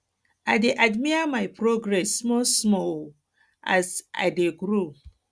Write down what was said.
i um dey admire my progress small small um as i i dey grow